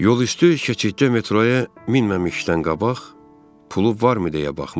Yol üstü keçiddə metroya minməmişdən qabaq pulu varmı deyə baxmış.